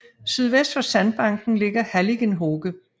Sydvest for sandbanken ligger halligen Hoge